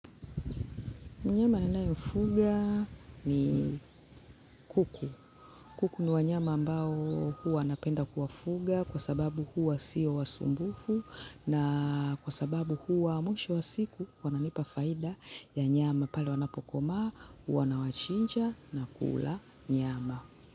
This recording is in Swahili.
Mnyama ninayemfuga ni kuku. Kuku ni wanyama ambao huwa napenda kuwafuga kwa sababu huwa sio wasumbufu na kwa sababu huwa mwisho wa siku wananipa faida ya nyama pale wanapokomaa, huwa nawachinja na kula nyama.